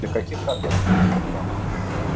для каких карт доступна программа